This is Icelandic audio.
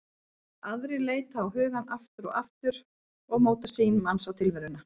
Aðrar leita á hugann aftur og aftur og móta sýn manns á tilveruna.